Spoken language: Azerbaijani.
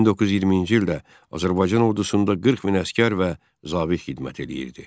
1920-ci ildə Azərbaycan ordusunda 40 min əsgər və zabit xidmət eləyirdi.